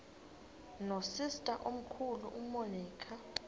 nosister omkhulu umonica